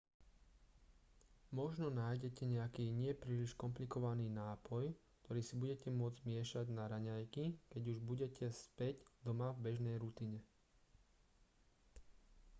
možno nájdete nejaký nie príliš komplikovaný nápoj ktorý si budete môcť miešať na raňajky keď už budete späť doma v bežnej rutine